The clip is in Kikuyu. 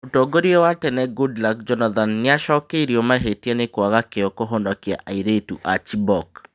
Mũtongoria wa tene Goodluck Jonathan nĩacokeirio mahĩtia nĩkwaga kĩo kũhonokia airĩtu a Chibok